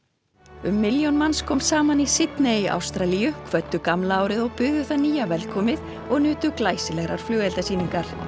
um milljón manns kom saman í Sydney í Ástralíu kvöddu gamla árið og buðu það nýja velkomið og nutu glæsilegrar flugeldasýningar